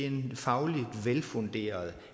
en fagligt velfunderet